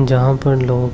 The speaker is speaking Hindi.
जहां पर लोग